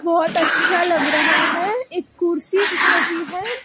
बहोत अच्छा लग रहा है एक कुर्सी दिख रही है।